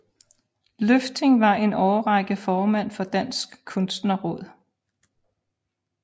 Løfting var en årrække formand for Dansk Kunstnerråd